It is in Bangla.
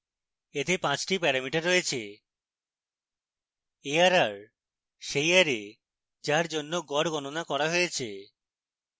এতে পাঁচটি প্যারামিটার রয়েছে arr সেই অ্যারে যার জন্য গড় গণনা করা হয়েছে